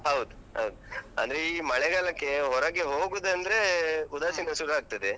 ಹೌದ್ ಹೌದು. ಅಂದ್ರೆ ಈ ಮಳೆಗಾಲಕ್ಕೇ ಹೊರಗೆ ಹೋಗುದಂದ್ರೆ, ಉದಾಸಿನ ಶುರು ಆಗ್ತದೆ.